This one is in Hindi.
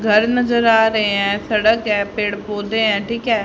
घर नज़र आ रहे है सड़क है पेड़ पौधे है ठीक है।